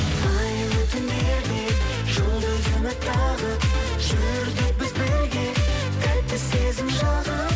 айлы түндерде жұлдыз үміт тағып жүрдік біз бірге тәтті сезім жағып